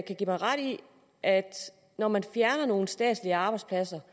give mig ret i at når man fjerner nogle statslige arbejdspladser